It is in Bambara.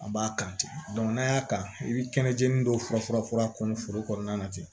A b'a kan ten n'a y'a kan i bɛ kɛnɛjenni dɔw fura kɔmi foro kɔnɔna na ten